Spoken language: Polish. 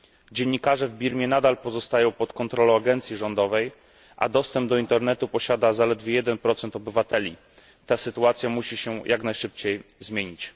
Dziennikarze w Birmie nadal pozostają pod kontrolą agencji rządowej, a dostęp do internetu posiada zaledwie 1 obywateli. Ta sytuacja musi się jak najszybciej zmienić.